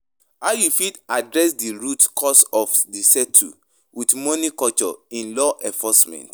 How you fit adress di root cause of di settle with money culture in law enforcement?